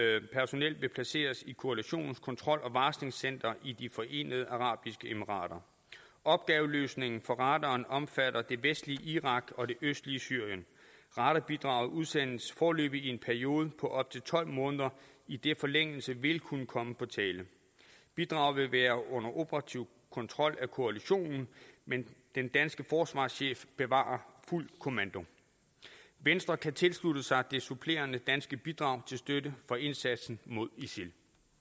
vil blive placeret i koalitionens kontrol og varslingscenter i de forenede arabiske emirater opgaveløsningen for radaren omfatter det vestlige irak og det østlige syrien radarbidraget udsendes foreløbig i en periode på op til tolv måneder idet forlængelse vil kunne komme på tale bidraget vil være under operativ kontrol af koalitionen men den danske forsvarschef bevarer fuld kommando venstre kan tilslutte sig det supplerende danske bidrag til støtte for indsatsen mod isil